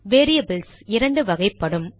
variables இரண்டு வகைப்படும்